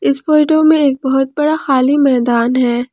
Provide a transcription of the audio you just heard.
इस फोटो में एक बहुत बड़ा खाली मैदान है।